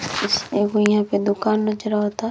एगो मे ओकर दुकान नज़र अवता।